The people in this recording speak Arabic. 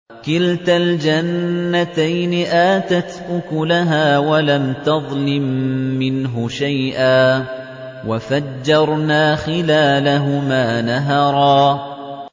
كِلْتَا الْجَنَّتَيْنِ آتَتْ أُكُلَهَا وَلَمْ تَظْلِم مِّنْهُ شَيْئًا ۚ وَفَجَّرْنَا خِلَالَهُمَا نَهَرًا